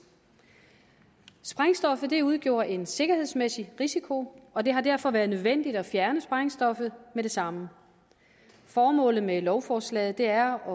sprængstoffet udgjorde en sikkerhedsmæssig risiko og det har derfor været nødvendigt at fjerne sprængstoffet med det samme formålet med lovforslaget er